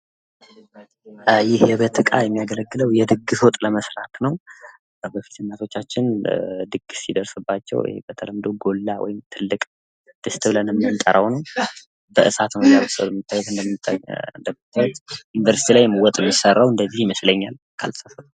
ይህ የቤት እቃ የሚያገለግለው የድግስ ወጥ ለመስራት ነው። ከበፊት እናቶቻችን ድግስ ሲደርስባቸው በተለምዶ ጎላ ወይም ትልቅ ድስት ብለን የምንጠራው ነው። በእሳት ነው እያበሰሉ ያሉ እንደምታዩት ዩኒቨርሲቲ ላይም ወጥ የሚሰራው እንደዚህ ይመስለኛል። ካልተሳሳትኩ።